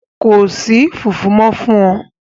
Ko si fufu mọ fun ọ!